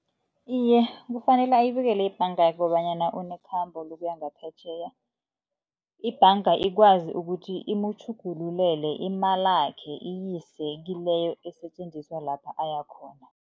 Iye, kufanele ayibikele ibhanga kobanyana unekhambo lokuya ngaphetjheya, ibhanga ikwazi ukuthi imutjhugulelela imalakhe iyise kileyo esetjenziswa lapha ayakhona.